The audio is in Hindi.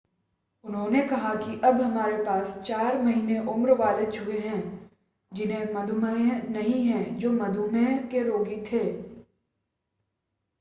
उन्होंने कहा कि अब हमारे पास 4 महीने उम्र वाले चूहे हैं जिन्हें मधुमेह नहीं है जो मधुमेह के रोगी थे।